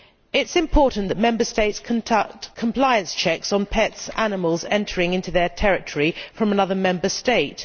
It is important that Member States conduct compliance checks on animals entering their territory from another Member State.